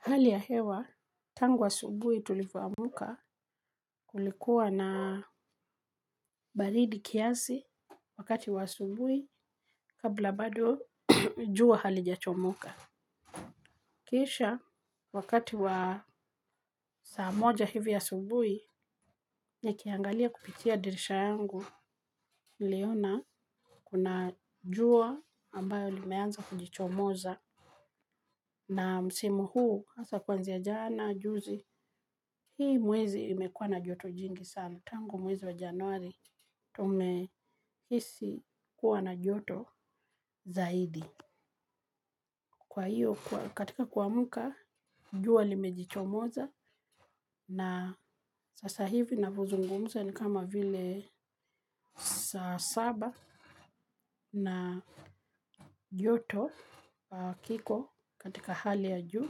Hali ya hewa tangu asubuhi tulivyoamka kulikuwa na baridi kiasi wakati wa asubuhi kabla bado jua halijachomoka. Kisha wakati wa saa moja hivi asubuhi, nikiangalia kupitia dirisha yangu niliona kuna jua ambayo limeanza kujichomoza. Na msimu huu hasa kwanzia jana, juzi, hii mwezi imekua na joto jingi sana tangu mwezi wa januari tumehisi kuwa na joto zaidi. Kwa hio, katika kuamka, jua limejichomoza na sasa hivi na vyozungumza ni kama vile saa saba na joto kiko katika hali ya juu.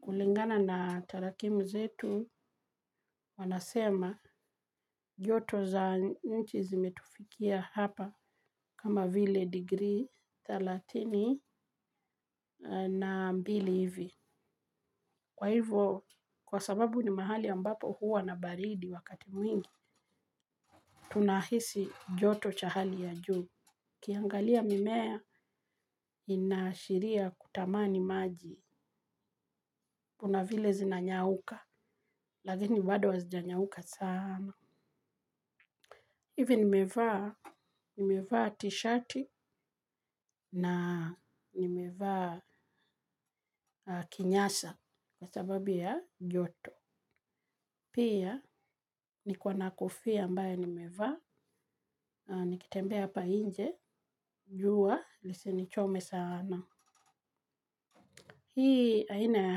Kulingana na tarakimu zetu wanasema joto za nchi zimetufikia hapa kama vile degree thelathini na mbili hivi. Kwa hivo, kwa sababu ni mahali ambapo huwa na baridi wakati mwingi, tunahisi joto cha hali ya juu. Ukiangalia mimea inaashiria kutamani maji. Kunavile zinanyauka, lakini bado hazijanyauka sana. Hivi nimevaa, nimevaa tishati na nimevaa kinyasa kwa sababu ya joto. Pia, niko na kofia ambayo nimevaa, nikitembea hapa nje, jua lisinichome sana. Hii aina ya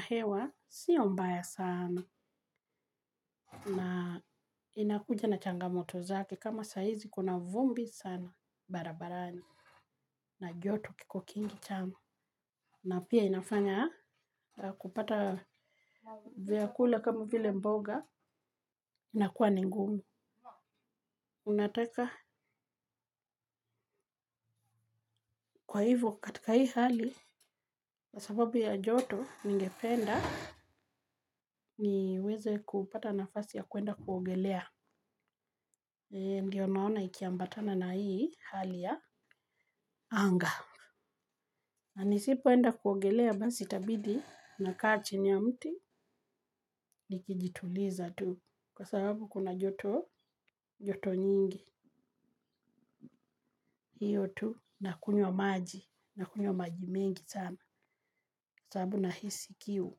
hewa, sio mbaya sana. Na inakuja na changamoto zake, kama saa hizi kuna vumbi sana, barabarani. Na joto kiko kingi chamo. Na pia inafanya kupata vyakula kama vile mboga inakuwa ni ngumu. Unataka. Kwa hivo katika hii hali, kwa sababu ya joto ningependa, niweze kupata nafasi ya kuenda kuogelea. Ndio naona ikiambatana na hii hali ya anga. Na nisipoenda kuogelea basi tabidi na kaa chini ya mti nikijituliza tu. Kwa sababu kuna joto, joto nyingi. Hio tu na kunywa maji na kunywa maji mengi sana sababu nahisi kiu.